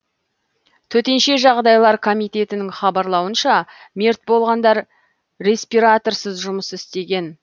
төтенше жағдайлар комитетінің хабарлауынша мерт болғандар респираторсыз жұмыс істеген